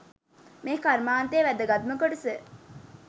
මේ කර්මාන්තයේ වැදගත්ම කොටස.